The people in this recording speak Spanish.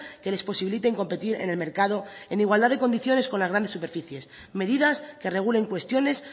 que les posibiliten competir en el mercado en igualdad de condiciones con las grandes superficies medidas que regulen cuestiones